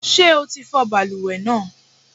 Ṣé o ti fọ balùwẹ̀ náà?